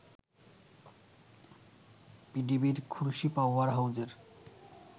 পিডিবির খুলশী পাওয়ার হাউজের